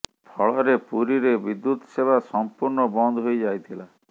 ଫଳରେ ପୁରୀରେ ବିଦ୍ୟୁତ୍ ସେବା ସଂପୂର୍ଣ୍ଣ ବନ୍ଦ ହୋଇ ଯାଇଥିଲା